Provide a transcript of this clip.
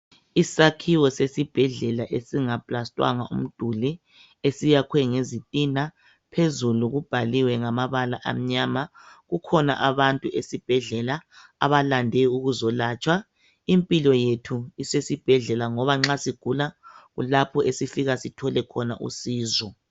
isakhiwo sesibhedlela esinga plastwanga umduli esiyakhwe ngezitina phezulu kubhaliwe ngamabala amnyama kukhona abantu esibhedlela abalande ukuzelatshwa impilo yethu isesibhedlela ngoba nxa sigula kulapho esifka sithole khona usizo